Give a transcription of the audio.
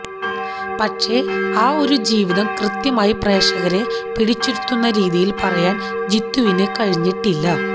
പക്ഷേ ആ ഒരു ജീവിതം കൃത്യമായി പ്രേക്ഷകരെ പിടിച്ചിരുത്തുന്ന രീതിയിൽ പറയാൻ ജീത്തുവിന് കഴിഞ്ഞിട്ടില്ല